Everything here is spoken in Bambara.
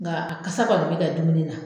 Nga a kasa kɔni bɛ ka dumuni na